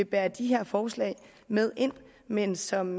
bære de her forslag med ind men som